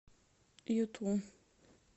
юту